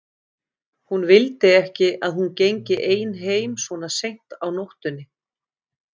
Hann vildi ekki að hún gengi ein heim svona seint á nóttunni.